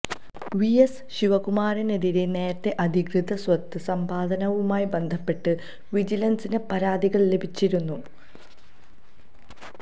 VS ശിവകുമാറിനെതിരെ നേരത്തെ അധികൃത സ്വത്ത് സമ്പാദനവുമായി ബന്ധപ്പെട്ട് വിജിലന്സിന് പരാതികള് ലഭിച്ചിരുന്നു